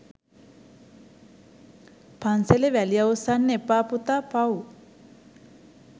” පන්සලේ වැලි අවුස්සන්න එපා පුතා පව්”.